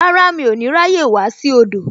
Rárá, mi ò ní ráyè wá sí odò